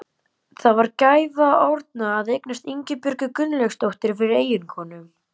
Það var gæfa Árna að eignast Ingibjörgu Gunnlaugsdóttur fyrir eiginkonu.